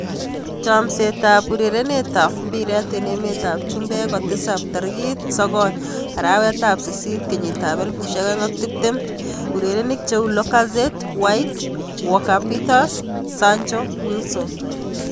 Chomset ab urerenet ab mbiret eng emet ab chumbek kotisap tarikit 09.08.2020: Lacazette, White, Walker-Peters, Sancho, Wilson